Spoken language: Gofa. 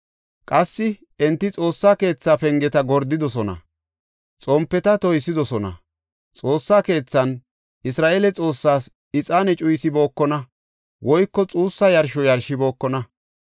Qassi, enti Xoossa keethaa pengeta gordidosona; xompeta toysidosona. Xoossa keethan Isra7eele Xoossaas ixaane cuyisibookona woyko xuussa yarsho yarshibookona.